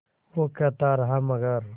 वो कहता रहा मगर